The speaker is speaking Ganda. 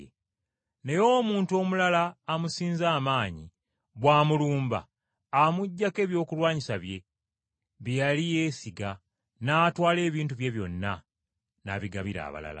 Naye omuntu omulala amusinza amaanyi bw’amulumba amuggyako ebyokulwanyisa bye, bye yali yeesiga, n’atwala ebintu bye byonna, n’abigabira abalala.